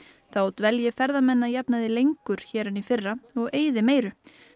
þá dvelji ferðamenn að jafnaði lengur hér en í fyrra og eyði meiru